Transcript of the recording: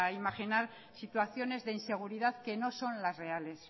imaginar situaciones de inseguridad que no son las reales